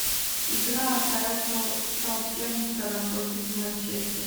игра апл саутгемптона против манчестера